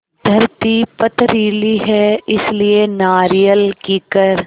धरती पथरीली है इसलिए नारियल कीकर